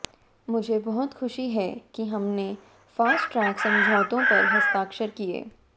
मुझे बहुत खुशी है कि हमने फास्ट ट्रैक समझौतों पर हस्ताक्षर किए